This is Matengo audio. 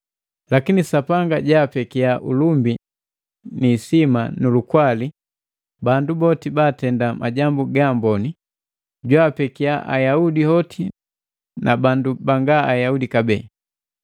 Lakini Sapanga jaapekia ulumbi ni isima nu lukwali bandu boti baatenda majambu ga amboni, jwaapekia Ayaudi hoti na bandu banga Ayaudi kabee.